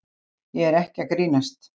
Ég er ekki að grínast.